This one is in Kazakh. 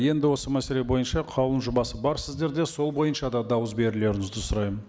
енді осы мәселе бойынша қаулының жобасы бар сіздерде сол бойынша да дауыс берулеріңізді сұраймын